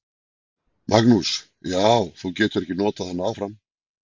Magnús: Já, þú getur ekki notað hana áfram?